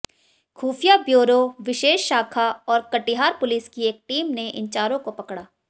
खुफिया ब्यूरो विशेष शाखा और कटिहार पुलिस की एक टीम ने इन चारों को पकड़ा